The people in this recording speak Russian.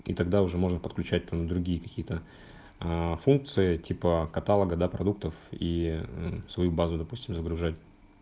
и тогда уже можно подключать там другие какие-то аа функции типа каталога да продуктов и мм свою базу допустим загружать